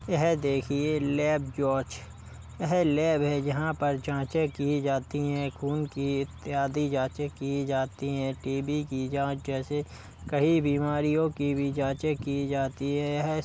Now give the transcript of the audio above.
यह देखिए लैब जांच। यह लैब है। यहां पर जांचें की जाती हैं। खून की इत्यादि जांचें की जाती हैं। टी.बी. की जांच जैसे कई बीमारियों की भी जांचे की जाती हैं। यह --